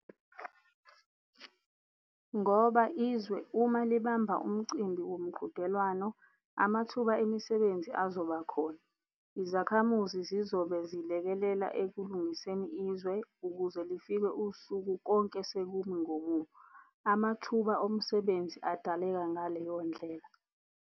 Ngoba izwe uma libamba umcimbi womqhudelwano, amathuba omsebenzi azoba khona, izakhamuzi zizobe zilekelela ekulingiseni izwe ukuze lifike usuku konke sekumi ngomumo. Amathuba omsebenzi adaleka ngaleyo ndlela.